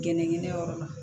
Gɛnɛgɛnɛyɔrɔ la